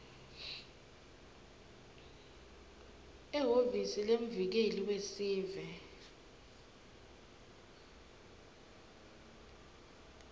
ehhovisi lemvikeli wesive